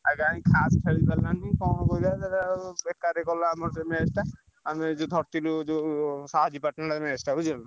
ଆଉ କାଇଁ ଖାସ୍ ଖେଳି ପାରିଲାନି ବେକାର ଗଲା ଆମର ସେ match ଟା